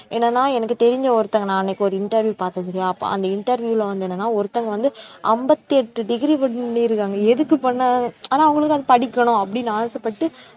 என்னன்னா எனக்கு தெரிஞ்ச ஒருத்தங்க நான் அன்னைக்கு ஒரு interview பார்த்தேன் சரியா அப்ப அந்த interview ல வந்து என்னன்னா ஒருத்தவங்க வந்து அம்பத்தி எட்டு degree பண்ணிருக்காங்க எதுக்கு பண்ணாங்க ஆனா அவங்களுக்கு அது படிக்கணும் அப்படின்னு ஆசைப்பட்டு